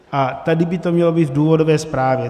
A tady by to mělo být v důvodové zprávě.